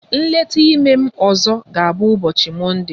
Nleta ime m ọzọ ga-abụ ụbọchi mọnde